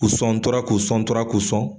K'u sɔn n tora k'u sɔn n tora k'u sɔn